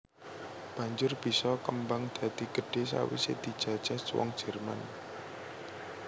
Banjur bisa kembang dadi gedhé sawisé dijajah wong Jerman